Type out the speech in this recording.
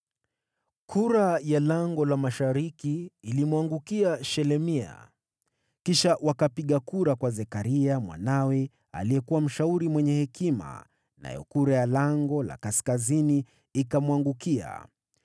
Kura ya Lango la Mashariki ilimwangukia Shelemia. Kisha wakapiga kura kwa Zekaria mwanawe, aliyekuwa mshauri mwenye hekima, nayo kura ya Lango la Kaskazini ikamwangukia.